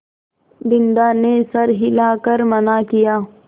बिन्दा ने सर हिला कर मना किया